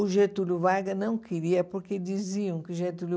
O Getúlio Vargas não queria, porque diziam que o Getúlio